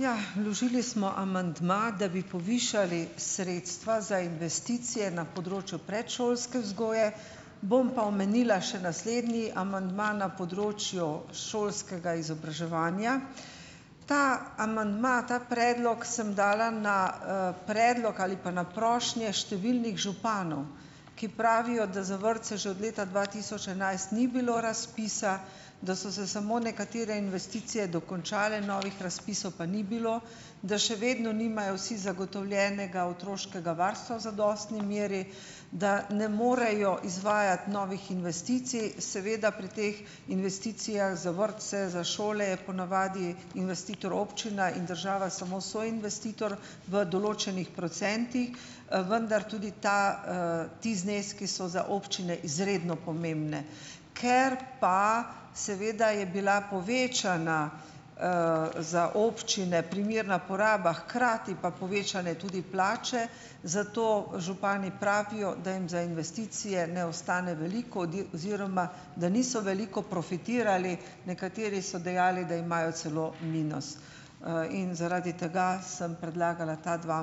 Ja, vložili smo amandma, da bi povišali sredstva za investicije na področju predšolske vzgoje. Bom pa omenila še naslednji amandma na področju šolskega izobraževanja. Ta amandma, ta predlog sem dala na, predlog ali pa na prošnje številnih županov, ki pravijo, da za vrtce že od leta dva tisoč enajst ni bilo razpisa, da so se samo nekatere investicije dokončale, novih razpisov pa ni bilo, da še vedno nimajo vsi zagotovljenega otroškega varstva v zadostni meri, da ne morejo izvajati novih investicij, seveda pri teh investicijah za vrtce, za šole je po navadi investitor občina in država samo soinvestitor v določenih procentih, vendar tudi ta, ti zneski so za občine izredno pomembni. Ker pa seveda je bila povečana, za občine primerna poraba, hkrati pa povečanjem tudi plače, zato župani pravijo, da jim za investicije ne ostane veliko oziroma da niso veliko profitirali, nekateri so dejali, da imajo celo minus. In zaradi tega sem predlagala ta dva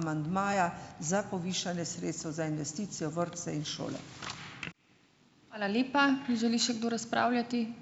amandmaja za povišanje sredstev za investicije v vrtce in šole.